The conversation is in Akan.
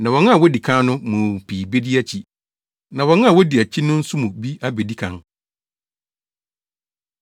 Na wɔn a wɔadi kan no mu pii bedi akyi, na wɔn a wodi akyi no nso mu bi abedi kan.”